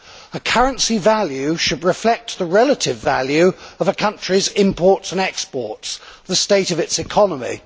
A currency value should reflect the relative value of a country's imports and exports the state of its economy.